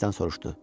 İksdən soruşdu.